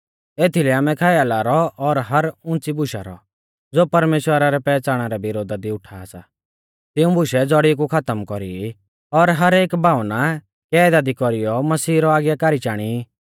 एथीलै आमै ख्याला रौ और हर उंच़ी बुशा रौ ज़ो परमेश्‍वरा रै पैहच़ाणा रै विरोधा दी उठा सा तिऊं बुशै ज़ौड़ी कु खातम कौरी ई और हर एक भावना कैदा दी कौरीऔ मसीहा रौ आज्ञाकारी चाणी ई